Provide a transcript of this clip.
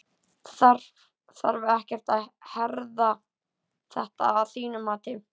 Þarf ekkert að herða þetta að þínu mati?